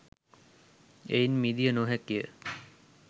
එයින් මිදිය නොහැකි ය.